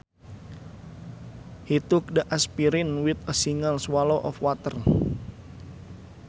He took the aspirin with a single swallow of water